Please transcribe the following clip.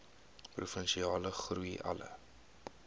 provinsiale groei alle